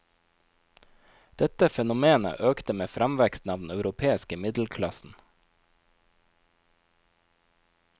Dette fenomenet økte med framveksten av den europeiske middelklassen.